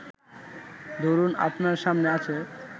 ধরুন, আপনার সামনে আছে